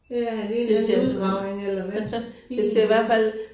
Det er en eller anden udgravning eller hvad fint ud